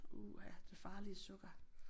Uha det farlige sukker